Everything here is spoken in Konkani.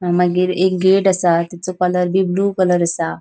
मागिर एक गेट आसा तिचो कलर बी ब्लू कलर आसा.